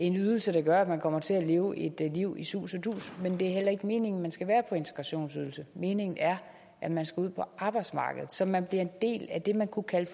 en ydelse der gør at man kommer til at leve et liv i sus og dus men det er heller ikke meningen at man skal være på integrationsydelse meningen er at man skal ud på arbejdsmarkedet så man bliver en del af det man kunne kalde